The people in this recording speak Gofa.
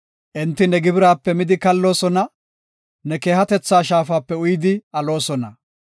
Enti ne gibiraape midi kalloosona; ne keehatetha shaafape uyidi aloosona.